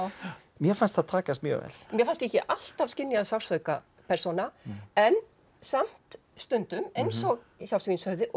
mér fannst það takast mjög vel mér fannst ég ekki alltaf skynja sársauka persóna en samt stundum eins og hjá svínshöfði og